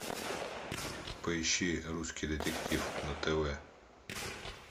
поищи русский детектив на тв